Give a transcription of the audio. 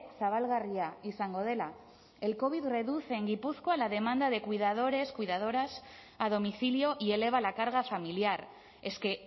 zabalgarria izango dela el covid reduce en gipuzkoa la demanda de cuidadores cuidadoras a domicilio y eleva la carga familiar es que